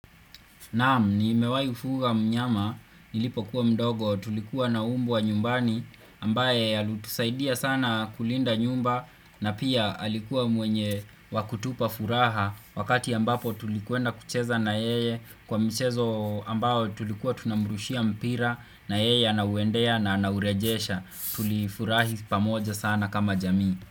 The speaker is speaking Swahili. Naam nimewahi kufuga mnyama Nilipo kuwa mdogo tulikuwa na mbwa wa nyumbani ambaye alitusaidia sana kulinda nyumba na pia alikuwa mwenye wakutupa furaha wakati ambapo tulikuwenda kucheza na yeye kwa mchezo ambayo tulikuwa tunamrushia mpira na yeye anauwendea na anaurejesha tulifurahi pamoja sana kama jamii.